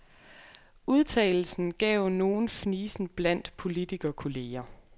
Udtalelsen gav nogen fnisen blandt politikerkolleger.